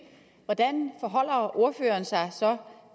hvordan forholder ordføreren sig så